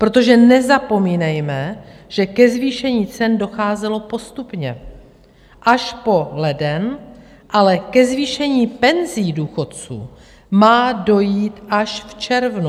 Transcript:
Protože nezapomínejme, že ke zvýšení cen docházelo postupně až po leden, ale ke zvýšení penzí důchodců má dojít až v červnu.